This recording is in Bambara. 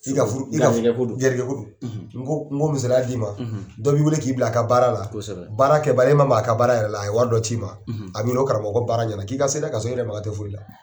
K'i ka furu, n b'o misaliya dɔ d'i ma , dɔ b'i weele k'i bila a ka baara la, kosɛbɛ, baara yɛrɛ kɛbali, e ma maka a ka baara yɛrɛ la , a bɛ i wele ka wari dɔ d'i ma , a b'i weele ko karamɔgɔ baara ɲɛna k'i ka se ka, k'a sɔrɔ i yɛrɛ makan tɛ fɔyi la.